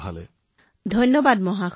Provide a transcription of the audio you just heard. ভাৱনা জী আপোনাক বহুত বহুত ধন্যবাদ